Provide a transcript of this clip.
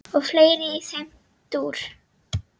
og fleira í þeim dúr.